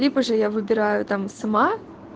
либо же я выбираю там сама